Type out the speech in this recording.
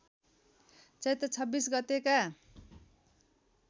चैत्र २६ गतेका